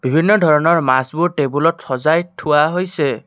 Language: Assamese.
বিভিন্ন ধৰণৰ মাছবোৰ টেবুলত সজাই থোৱা হৈছে।